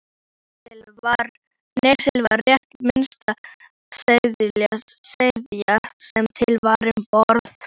Níelsi var rétt minnsta sveðjan sem til var um borð.